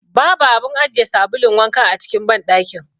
Babu abun ajiye sabulun wanka a cikin banɗakin.